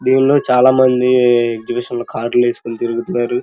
దీంట్లో చాలా మంది ఎగ్జిబిషన్ కార్ లు వేసుకొని తిరుగుతున్నారు.